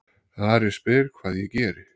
Ari spyr hvað ég geri.